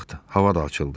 Bu vaxt hava da açıldı.